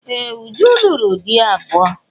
Ee! Uju lụrụ di abụọ.